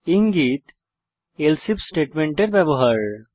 ইঙ্গিত else if স্টেটমেন্টের ব্যবহার